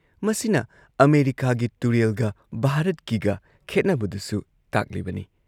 ꯃꯁꯤꯅ ꯑꯃꯦꯔꯤꯀꯥꯒꯤ ꯇꯨꯔꯦꯜꯒ ꯚꯥꯔꯠꯀꯤꯒ ꯈꯦꯠꯅꯕꯗꯨꯁꯨ ꯇꯥꯛꯂꯤꯕꯅꯤ ꯫